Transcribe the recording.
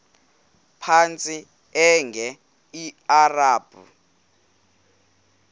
phantsi enge lrabi